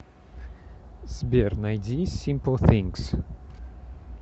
сбер найди симпл фингс